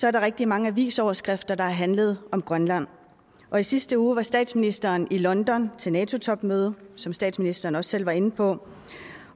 er der rigtig mange avisoverskrifter der har handlet om grønland og i sidste uge var statsministeren i london til nato topmøde som statsministeren også selv var inde på